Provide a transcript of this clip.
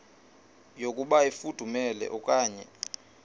yokuba ifudumele okanye